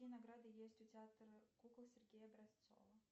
какие награды есть у театра кукол сергея образцова